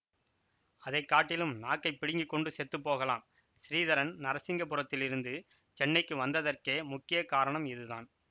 அதை காட்டிலும் நாக்கைப் பிடுங்கிக்கொண்டு செத்து போகலாம் ஸ்ரீதரன் நரசிங்கபுரத்திலிருந்து சென்னைக்கு வந்ததற்கே முக்கிய காரணம் இதுதான்